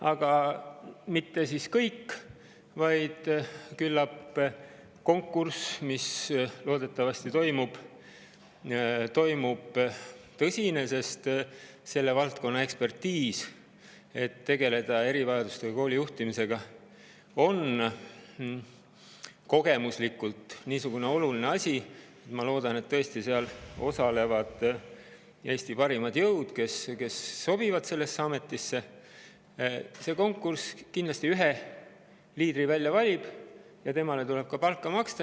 Aga mitte, sest küllap selle konkursi käigus, mis loodetavasti tuleb tõsine – kogemuslik ekspertiis selle valdkonnas on oluline, et tegeleda erivajadustega kooli juhtimisega, ma loodan, et seal tõesti osalevad Eesti parimad jõud, kes sobivad sellesse ametisse –, valitakse üks liider välja ja temale tuleb ka palka maksta.